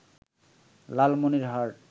Lalmonirhat